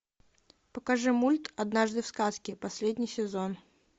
покажи мульт однажды в сказке последний сезон